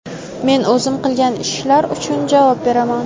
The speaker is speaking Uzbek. Men o‘zim qilgan ishlar uchun javob beraman.